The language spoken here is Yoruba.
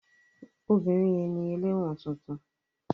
Obìnrin yẹn ni ẹlẹ́wọ̀n tuntun.